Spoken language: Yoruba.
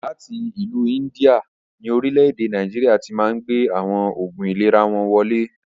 Láti ìlú India ni Orílẹ̀ èdè Nàìjíríà tíì Máà ń gbé àwọn Oògún ìlera wọn wọlé